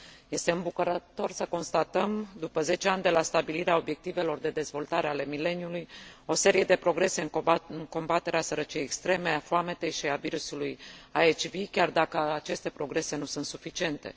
Este îmbucurător să constatăm, după zece ani de la stabilirea Obiectivelor de dezvoltare ale mileniului, o serie de progrese în combaterea sărăciei extreme, a foametei și a virusului HIV, chiar dacă aceste progrese nu sunt suficiente.